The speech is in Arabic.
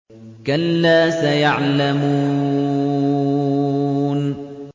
كَلَّا سَيَعْلَمُونَ